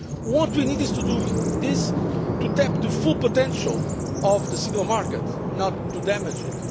What we need to do is to tap the full potential of the single market, not to damage